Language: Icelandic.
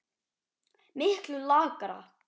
Miklu lakara.